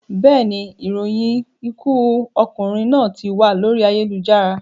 Bẹ́ẹ̀ni, ìròyìn ikú okùnrin náà tí wà lórí ayélujára